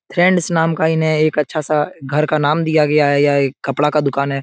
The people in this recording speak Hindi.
फ्रेंड्स नाम का इन्हें एक अच्छा सा घर का नाम दिया गया है । यह एक कपड़ा का दूकान है ।